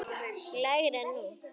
lægri en nú.